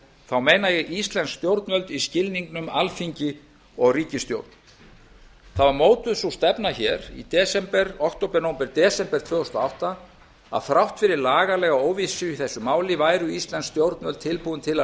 þá meina ég íslensk stjórnvöld í skilningnum alþingi og ríkisstjórn það var mótuð sú stefna hér í október nóvember desember tvö þúsund og átta að þrátt fyrir lagalega óvissu í þessu máli væru íslensk stjórnvöld tilbúin til að